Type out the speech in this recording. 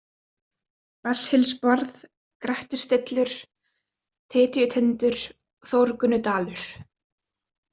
Besshylsbarð, Grettisstillur, Tytjutindur, Þórgunnudalur